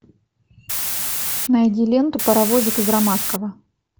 найди ленту паровозик из ромашково